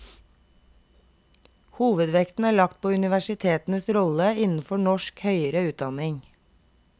Hovedvekten er lagt på universitetenes rolle innenfor norsk høyere utdanning.